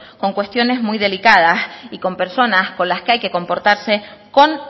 con cuestiones muy delicadas y con personas con las que hay que comportarse con